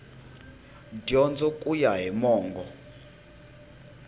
dyondzo ku ya hi mongo